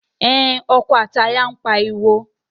Ẹn, ọkọ àti aya ń pariwo.